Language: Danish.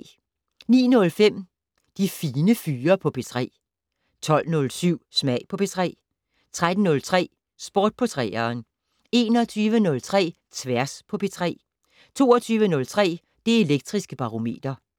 09:05: De Fine Fyre på P3 12:07: Smag på P3 13:03: Sport på 3'eren 21:03: Tværs på P3 22:03: Det Elektriske Barometer